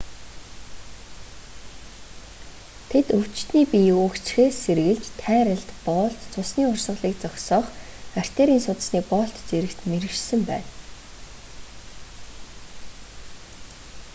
тэд өвчтөний биеийг үхжихээс сэргийлж тайралт боолт цусний урсгалыг зогсоох артерийн судасны боолт зэрэгт мэргэшсэн байна